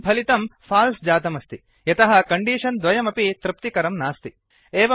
इदानीं फलितं फाल्स् जातमस्ति यतः कण्डीषन् द्वयमपि तृप्तिकरं नास्ति